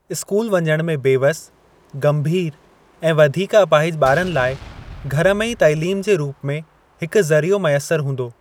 School वञण में बेवसि गंभीर ऐं वधीक अपाहिज ॿारनि लाइ घर में ई तइलीम जे रूप में हिकु ज़रियो मयसर हूंदो।